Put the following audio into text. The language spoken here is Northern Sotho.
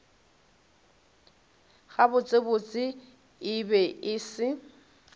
gabotsebotse e be e se